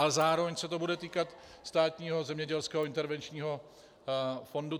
Ale zároveň se to bude týkat Státního zemědělského intervenčního fondu.